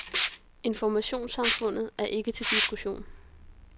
Informationssamfundet er ikke til diskussion.